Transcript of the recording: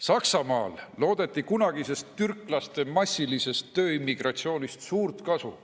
Saksamaal loodeti kunagisest türklaste massilisest tööimmigratsioonist suurt kasu.